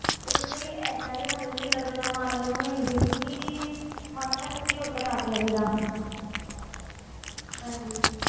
ਉਦੋਂ ਤੋਂ ਹੀ ਏਦਾਂ ਦੀ ਮਤਲਬ ਕਿ ਲਗਨ ਮਨ ਨੂੰ ਹੋਈ ਸੀਗੀ ਕਿ ਮਨ ਨਾ ਸੱਚੀ ਉੱਧਰ ਲੱਗ ਗਿਆ ਸੀਗਾ ਹਾਂਜੀ।